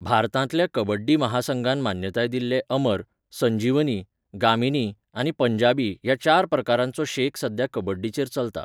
भारतांतल्या कबड्डी महासंघान मान्यताय दिल्ले अमर, संजीवनी, गामिनी आनी पंजाबी ह्या चार प्रकारांचो शेक सध्या कबड्डीचेर चलता.